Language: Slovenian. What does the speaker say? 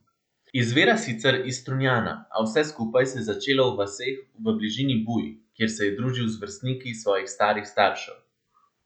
Izvira sicer iz Strunjana, a vse skupaj se je začelo v vaseh v bližini Buj, kjer se je družil z vrstniki svojih starih staršev.